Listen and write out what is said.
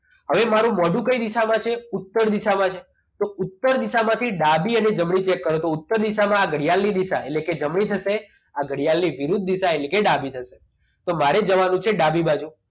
હવે મારું મોઢું કઈ દિશામાં છે ઉત્તર દિશામાં છે તો ઉત્તર દિશામાંથી ડાબી અને જમણી cheak કરવાનું તો ઉત્તર દિશામાં ઘડિયાળ ની દિશા એટલે કે જમણી થશે આ ઘડિયાળની વિરુદ્ધ દિશા એટલે કે ડાબી થશે તો મારે જવાનું છે ડાબી બાજુ